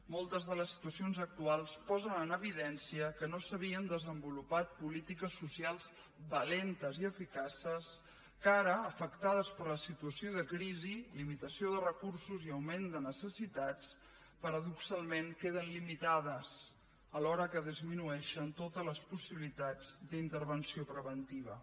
moltes de les situacions actuals posen en evidència que no s’havien desenvolupat polítiques socials valentes ni eficaces que ara afectades per la situació de crisi limitació de recursos i augment de necessitats paradoxalment queden limitades alhora que disminueixen totes les possibilitats d’intervenció preventiva